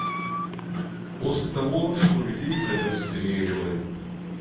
после того что людей блять расстреливали